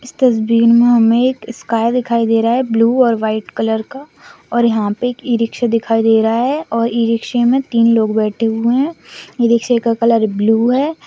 इस तस्वीर में हमें एक स्काई दिखाई दे रहा है ब्लू और वाइट कलर का और यहां पर एक ई रिक्शा दिखाई दे रहा है और ई रिक्शा में तीन लोग बैठे हुए हैं यह रिक्शा का कलर ब्लू है।